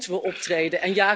Nu moeten we optreden.